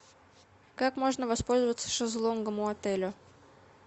как можно воспользоваться шезлонгом у отеля